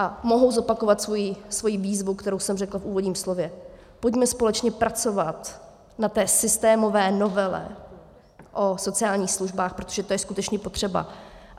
A mohu zopakovat svoji výzvu, kterou jsem řekla v úvodním slově: Pojďme společně pracovat na té systémové novele o sociálních službách, protože to je skutečně potřeba.